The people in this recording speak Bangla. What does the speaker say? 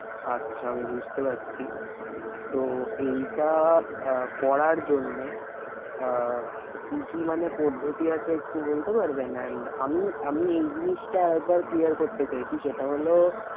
আচ্ছা আমি বুঝতে পারছি। তো এইটা আহ করার জন্যে আহ কি কি মানে পদ্ধতি আছে একটি বলতে পারবেন? and আমি, আমি এই জিনিটা আর একবার clear করতে চাইছি সেটা হলো